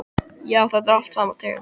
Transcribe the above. Já, þetta er allt sama tegund.